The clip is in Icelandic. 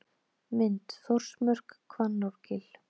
Mynd: Þórsmörk, Hvannárgil.